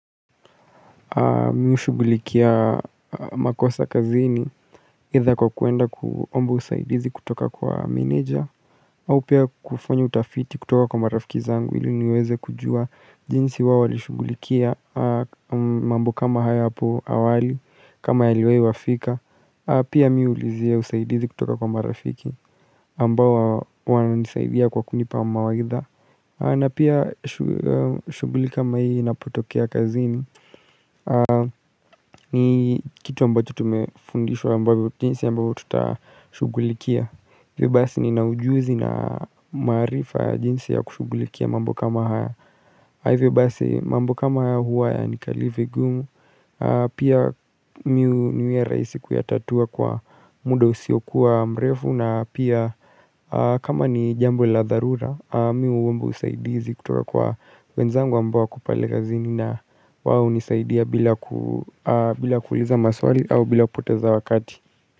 Mi hushugulikia makosa kazini either kwa kuenda kuomba usaidizi kutoka kwa manager au pia kufanya utafiti kutoka kwa marafiki zangu ili niweze kujua jinsi wao walishughulikia mambo kama haya hapo awali kama yaliwai wafika Pia mi huulizia usaidizi kutoka kwa marafiki ambao wananisaidia kwa kunipa mawaidha na pia shughuli kama hii inapotokea kazini ni kitu ambacho tumefundishwa ambavyo jinsi ambavyo tutashughulikia hivyo basi nina ujuzi na maarifa jinsi ya kushughulikia mambo kama haya. Hivyo basi mambo kama haya huwa hayanikalii vigumu Pia mi huniwia rahisi kuyatatua kwa muda usiokuwa mrefu na pia kama ni jambo la dharura mi huomba usaidizi kutuwa kwa wenzangu ambao wako pale kazini na wao hunisaidia bila bila kuuliza maswali au bila kupoteza wakati.